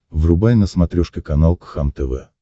врубай на смотрешке канал кхлм тв